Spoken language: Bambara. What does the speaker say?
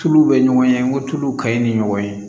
Tuluw bɛ ɲɔgɔn ye n ko tuluw ka ɲi ni ɲɔgɔn ye